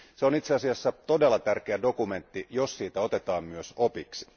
Se on itse asiassa todella tärkeä dokumentti, jos siitä otetaan myös opiksi.